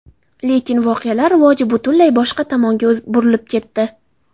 Lekin voqealar rivoji butunlay boshqa tomonga burilib ketdi.